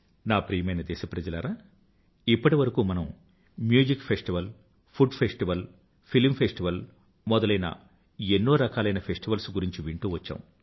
నా ప్రియమైన దేశప్రజలారా ఇప్పటివరకు మనం music festival food festival film festival మొదలైన ఎన్నో రకాలైన ఫెస్టివల్స్ గురించి వింటూవచ్చాం